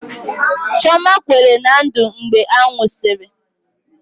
Chioma kwere na Ndụ mgbe a nwụsịrị